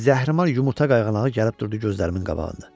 Zəhrimar yumurta qayğanağı gəlib durdu gözlərimin qabağında.